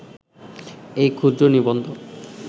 এই ক্ষুদ্র নিবন্ধ